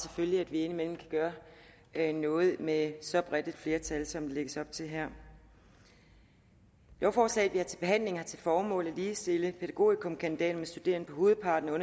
at vi indimellem kan gøre noget med så bredt et flertal som der lægges op til her lovforslaget vi har til behandling har til formål at ligestille pædagogikumkandidater med studerende på hovedparten af